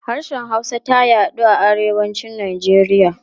Harshen Hausa ta yaɗu a Arewacin Najeriya.